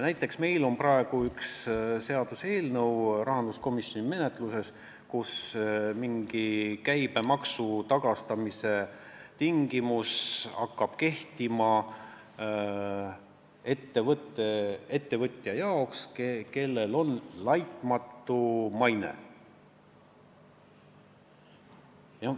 Näiteks praegu on rahanduskomisjoni menetluses üks seaduseelnõu, mille kohaselt mingi käibemaksu tagastamise tingimus on, et see hakkab kehtima ettevõtja jaoks, kellel on laitmatu maine.